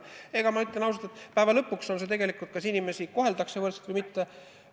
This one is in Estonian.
Aga ma ütlen ausalt, et lõpuks on tegelikult küsimus, kas inimesi koheldakse võrdselt või mitte.